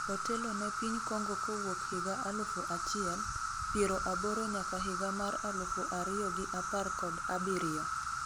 otelo ne piny Kongo kowuok higa alufu achiel ,piero aboro nyaka higa mar alufu ariyo gi apar kod abiriyo